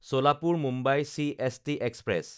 ছলাপুৰ–মুম্বাই CST express